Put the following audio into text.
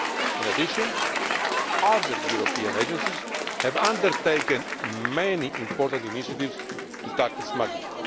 In addition, other European agencies have undertaken many important initiatives to tackle smuggling.